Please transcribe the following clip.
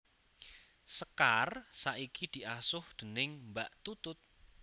Sekar saiki diasuh déning Mbak Tutut